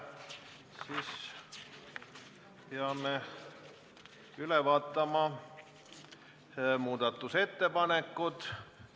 Sellisel juhul peame üle vaatama muudatusettepanekud.